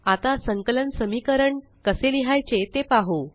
आता संकलक समीकरणकसे लिहायचे ते पाहु